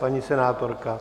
Paní senátorka?